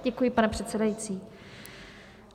Děkuji, pane předsedající.